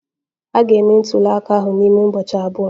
A ga-eme ntuli aka ahụ n'ime ụbọchị abụọ.